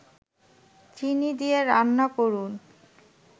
চিনি দিয়ে রান্না করুন